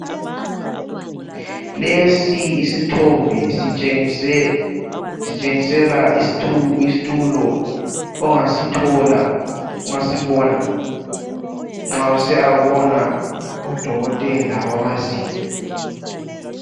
Lesi isithombe sitshengisela isitulo ongasithola, ongasibona nxa usiyabona udokotela wamazinyo.